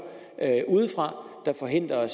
udefra der forhindrer